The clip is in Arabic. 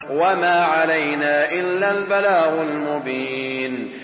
وَمَا عَلَيْنَا إِلَّا الْبَلَاغُ الْمُبِينُ